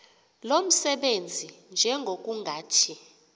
lo msebenzi njengokungathi